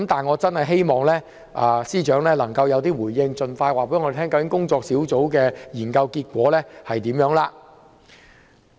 我很希望司長能夠有所回應，盡快告知工作小組的研究結果。